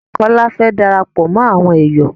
Kọ́́lá fẹ́ darapọ̀ mọ àwọn èyọ̀